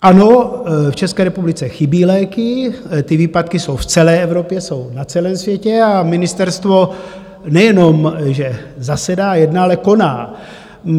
Ano, v České republice chybějí léky, ty výpadky jsou v celé Evropě, jsou na celém světě, a ministerstvo nejenom že zasedá, jedná, ale koná.